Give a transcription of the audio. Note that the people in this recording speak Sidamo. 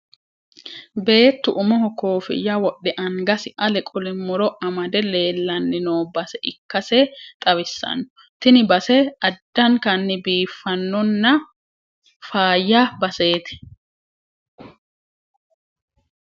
Beettu umuho koofinya wodhe angasi ale qole mu'ro amade leellanni no base ikkase xawissanno. Tini base addankanni biiffanno nna faayya baseeti.